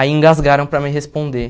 Aí engasgaram para me responder.